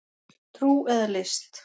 Trú eða list